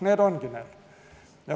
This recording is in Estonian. Need ongi need põhjused.